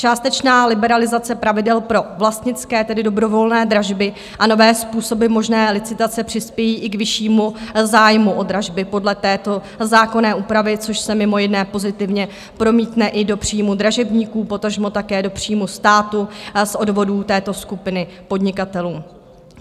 Částečná liberalizace pravidel pro vlastnické, tedy dobrovolné dražby a nové způsoby možné licitace přispějí i k vyššímu zájmu o dražby podle této zákonné úpravy, což se mimo jiné pozitivně promítne i do příjmů dražebníků, potažmo také do příjmu státu z odvodů této skupiny podnikatelů.